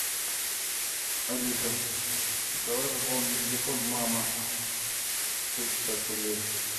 алиса давай пополним телефон мама сто пятьдесят рублей